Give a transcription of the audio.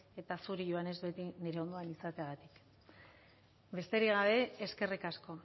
eta zuri joanes beti nire ondoan izateagatik besterik gabe eskerrik asko